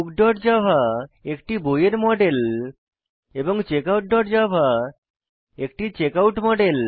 bookজাভা একটি বইয়ের মডেল এবং checkoutজাভা একটি চেকআউট মডেল